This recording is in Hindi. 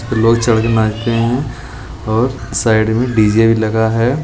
लोग चढ के नाचते हैं और साइड में डीजे भी लगा है।